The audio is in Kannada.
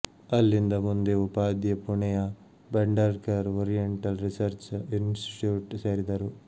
ಅಲ್ಲಿಂದ ಮುಂದೆ ಉಪಾಧ್ಯೆ ಪುಣೆಯ ಭಂಢಾರಕರ್ ಓರಿಯೆಂಟಲ್ ರಿಸರ್ಚ ಇನ್ಸಿಟಿಟ್ಯೂಟ್ ಸೇರಿದರು